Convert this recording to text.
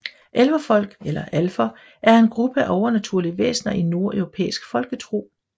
Elverfolk eller alfer er en gruppe af overnaturlige væsner i nordeuropæisk folketro